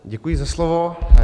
Děkuji za slovo.